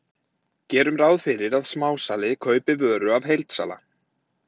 Gerum ráð fyrir að smásali kaupi vöru af heildsala.